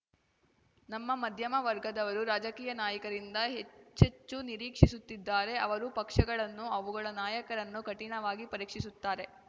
ನಮ್ಮ ಮಧ್ಯಮ ವರ್ಗದವರು ರಾಜಕೀಯ ನಾಯಕರಿಂದ ಹೆಚ್ಚೆಚ್ಚು ನಿರೀಕ್ಷಿಸುತ್ತಿದ್ದಾರೆ ಅವರು ಪಕ್ಷಗಳನ್ನೂ ಅವುಗಳ ನಾಯಕರನ್ನೂ ಕಠಿಣವಾಗಿ ಪರೀಕ್ಷಿಸುತ್ತಾರೆ